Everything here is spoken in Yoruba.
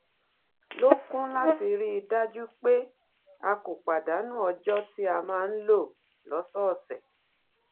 lò kún un láti rí i dájú pé a kò pàdánù ọjọ tí a máa ń lò lọsọọsẹ